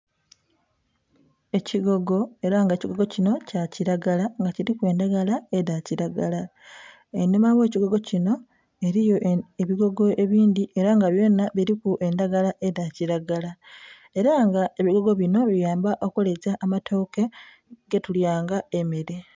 Ekigogo era nga ekigogo kinho kyakiragala nga kiriku endhagala edhakiragala enhuma ogh'ekigogo kinho eliyo ebigogo ebindhi era nga byona biriku endhagala edhakiragala, era nga ebigogo binho byamba okuleta amatooke getulya nga emere.